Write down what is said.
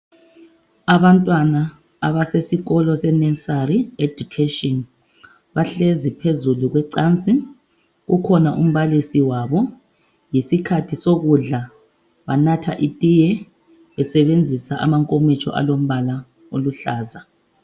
Abantwana abasesikolo seNursery education bahlezi phezulu kwecansi ukhona umbalisi wabo yisikhathi sokudla banatha itiye besebenzisa amankomitsho alombala oluhlaza